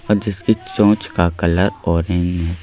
और जिसकी चोंच का कलर ऑरेंज --